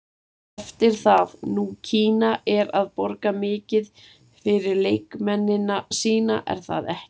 Eftir það, nú Kína er að borga mikið fyrir leikmennina sína, er það ekki?